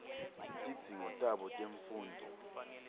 tidzingo tabo temfundvo